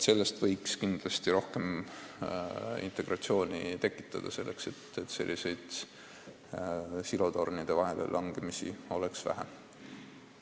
Kindlasti oleks vaja rohkem integratsiooni, et sellist silotornide vahele langemist oleks vähem.